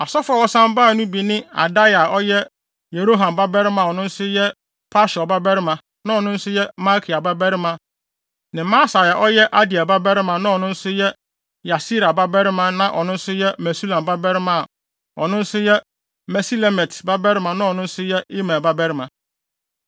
Asɔfo a wɔsan bae no bi ne Adaia a ɔyɛ Yeroham babarima a na ɔno nso yɛ Pashur babarima na ɔno nso yɛ Malkia babarima ne Masai a ɔyɛ Adiel babarima na ɔno nso yɛ Yahsera babarima na ɔno nso yɛ Mesulam babarima a ɔno nso yɛ Mesilemit babarima na ɔno nso yɛ Imer babarima.